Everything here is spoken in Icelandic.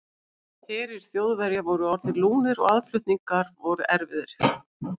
Herir Þjóðverja voru orðnir lúnir og aðflutningar voru erfiðir.